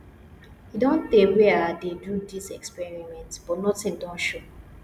e don tey wey i dey do dis experiment but nothing don show